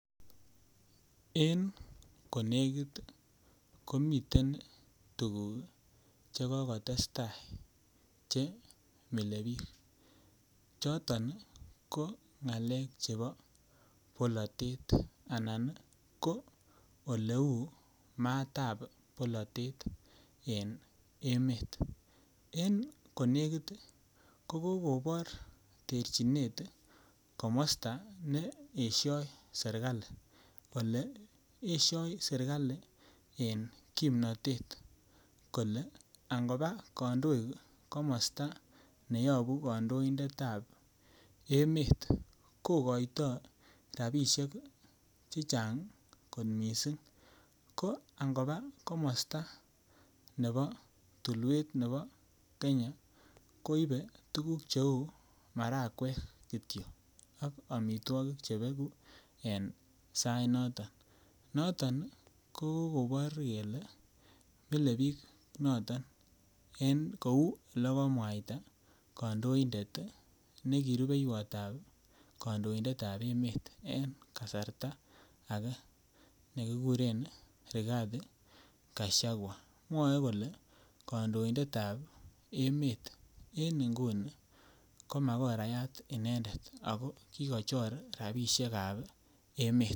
En konekit ii komiten tukuk cheko kotestaa chimile biik choton ko ng'alek chebo bolatet anan ko oleu matab bolatet en emet, en konekit ko kokobor terchinet komosta neesio serikali, kole esio serikal en kimnotet kole angopaa kandoik komosta neyobu kandoindetab emet kokoito rapisiek chechang kot missing, ko angopaa komosta ne bo tulwet nepo kenya koipe tukuk cheu marakwek kitio ak amitwokik chebeku en sainoto ,noton kokobor kele milei biik noto en kou olekomwaita kandoindet neki rubeiwotab kandoindetab emet en kasarta age nekikuren Rigathi Gachagua mwae kole kandoindetab emet en inguni ko makorayat inenedet ako kikochor rapisiekab emet .